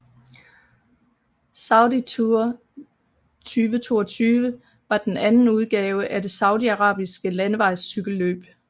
Saudi Tour 2022 var den anden udgave af det saudiarabiske landevejscykelløb